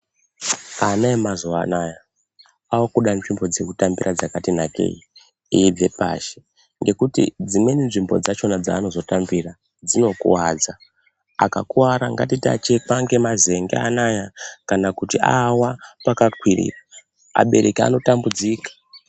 Ana emazuwa anaya akuda nzvimbo dzekutambira dzakati nakei, eibve pashi ngekuti dzimweni nzvimbo dzachona dzaanozo tambira, dzinokuwadza. Akakuwara, ngatiti achekwa ngemazen'e anawa kana kuti awa pakakwirira, abereki ano tambudzika.